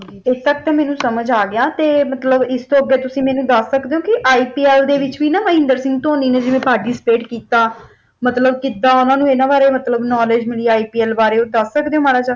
ਇਸ ਤੱਕ ਤੇ ਮੈਨੂੰ ਸਮਝ ਆ ਗਿਆ ਅਤੇ ਮਤਲਬ ਇਸ ਤੋਂ ਅੱਗੇ ਤੁਸੀਂ ਮੈਨੂੰ ਦੱਸ ਸਕਦੇ ਹੋ ਕਿ IPL ਦੇ ਵਿੱਚ ਵੀ ਨਾ ਮਹਿੰਦਰ ਸਿੰਘ ਧੋਨੀ ਨੇ ਜਿਵੇ participate ਕੀਤਾ ਮਤਲਬ ਕਿੱਦਾਂ ਉਹਨਾਂ ਨੂੰ ਇਹਨਾਂ ਬਾਰੇ ਮਤਲਬ knowledge ਮਿਲੀ IPL ਬਾਰੇ ਉਹ ਦੱਸ ਸਕਦੇ ਹੋਂ ਮਾੜਾ ਜਿਹਾ।